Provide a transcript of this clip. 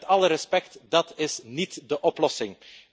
Met alle respect, dat is niet de oplossing.